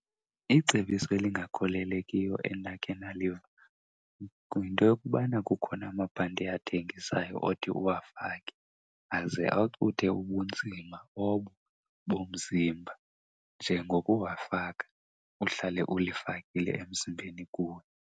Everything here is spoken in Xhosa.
Icebiso elingakholelekiyo endakhe ndaliva yinto yokubana kukhona amabhanti athengiswayo othi uwafake aze acuthe ubunzima obo bomzimba. Nje ngokuwafaka, uhlale ulifakile emzimbeni kuwe.